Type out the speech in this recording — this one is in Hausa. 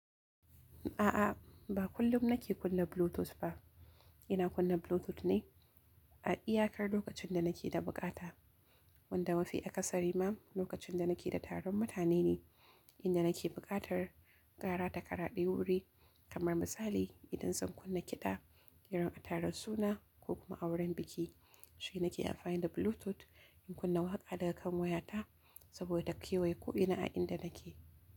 A'a, ba kullum nake kunna Bluetooth ba. Ina kunna Bluetooth ne a iyakar lokacin da nake da bukata. Wanda mafi akasari ma lokacin da nake da taron mutane ne, inda nake buƙatar kara takaraɗe wuri. Kamar misali idan zan kunna kiɗa irin a taron suna ko kuma auren biki, shine nake amfani da Bluetooth in kunna waƙa daga kan wayata saboda ta kewaye ko ina a inda nake.